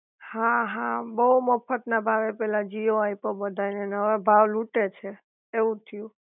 હા હા, બોવ મફત ના ભાવે પેલા જીઓ આપ્યો બધા ને, ને હવે ભાવ લુંટે છે એવું થયું